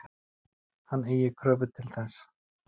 Hann eigi kröfu til þess.